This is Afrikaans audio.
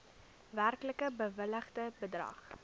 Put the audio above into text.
werklik bewilligde bedrag